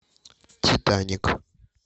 титаник